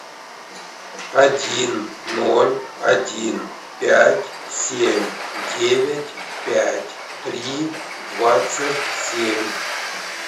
один ноль один пять семь девять пять три двадцать семь